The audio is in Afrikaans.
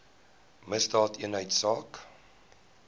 misdaadeenheidsaak